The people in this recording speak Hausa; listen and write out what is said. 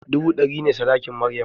Dubu ɗari ne sadakin maryam